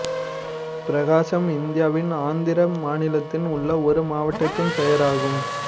பிரகாசம் இந்தியாவின் ஆந்திர மாநிலத்தில் உள்ள ஒரு மாவட்டத்தின் பெயர் ஆகும்